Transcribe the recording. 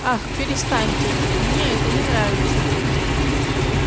ах перестаньте мне это не нравится